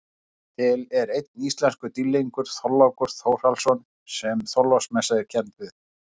Til er einn íslenskur dýrlingur, Þorlákur Þórhallsson sem Þorláksmessa er kennd við.